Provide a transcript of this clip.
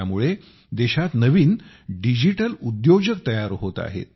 त्यामुळे देशात नवीन डिजिटल उद्योजक तयार होत आहेत